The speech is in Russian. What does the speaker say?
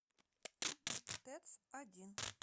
тэц один